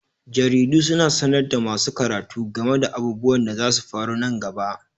Jaridu suna sanar da masu karatu game da abubuwan da zasu faru nan gaba.